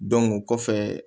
o kɔfɛ